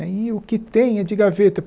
E aí o que tem é de gaveta.